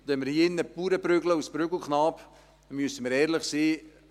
Und wenn wir hier in diesem Saal die Bauern als Prügelknaben prügeln, müssen wir ehrlich sein: